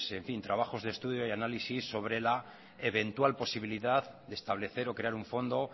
trabajos de estudio y análisis sobre la eventual posibilidad de establecer o crear un fondo